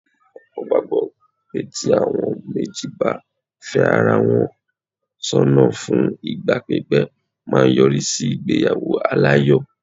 Ọ̀pọ̀ gbàgbọ́ pé tí àwọn méjì bá fẹ́ ara wọn sọ́nà fún ìgbà pípé máa yọrí sí ìgbéyàwó aláyọ̀.